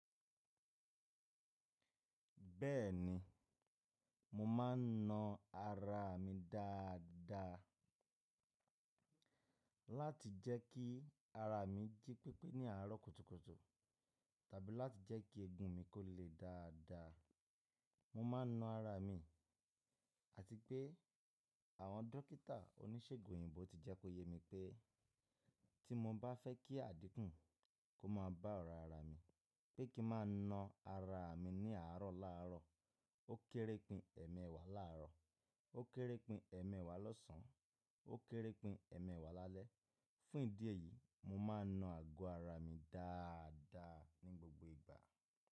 Bẹ́ẹ̀ni, mo ma n na ara mi dáadáa láti jẹ́ kí ara mi jí pépé ní àárọ̀ kùtùkùtù tàbí láti jẹ́ kí egun mi kó le dáadáa. Mo ma n na ara mi àti pé àwọn dókítà oníṣègùn òyìnbó ti jẹ́ kó yemi pé tí mo bá fẹ́ kí àdínkù kó má bá ọ̀ra ara mi, pé kí n má na ara mi ní àárọ̀ láàárọ̀, ó kéré pin ẹ̀mẹẹ̀wà làárọ̀, ó kéré pin ẹ̀mẹẹ̀wà lọ́sàn, ó kéré pin ẹ̀mẹẹ̀wà lálẹ́. Fún ìdí èyí, mo ma n na ago ara mi dáadáa ní gbogbo ìgbà.